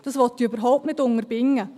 das will ich überhaupt nicht unterbinden.